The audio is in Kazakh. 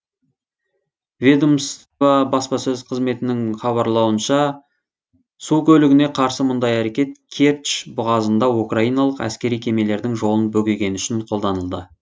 ведомство баспасөз қызметінің хабарлауынша су көлігіне қарсы мұндай әрекет керчь бұғазында украиналық әскери кемелердің жолын бөгегені үшін қолданылды